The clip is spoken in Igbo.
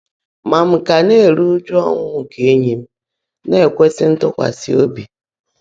Mà m kà ná-èrú ụ́jụ́ ọ́ńwụ́ nkè éńyí m ná-èkwèsị́ ntụ́kwasị́ óbí.